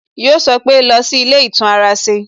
Yọ sọ pé "lọ sí ilé ìtún ara ṣe"